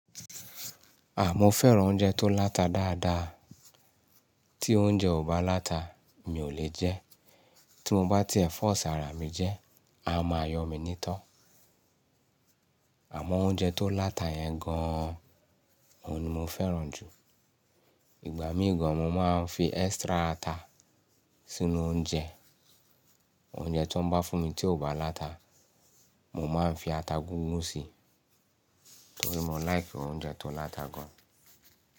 À mò fẹ́ràn oúnjẹ tó láta dáadáa. Tí oúnjẹ ò bá láta, mi ò le jẹ. Tí mo bá tí ẹ̀ force àrà mi jẹ, a máa yọ mi nítọ́. Àmọ́ oúnjẹ tó láta yẹn gan an, òun ni mo fẹ́ràn ìgbà míì gan an, mó máa ń fi extra ata sínú oúnjẹ. Oúnjẹ tó ń bá fún mi tí ò bá láta, mo máa ń fi ata gúngun síi, torí mo like oúnjẹ tó láta gan.